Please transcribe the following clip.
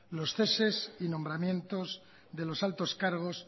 los ceses y nombramientos de los altos cargos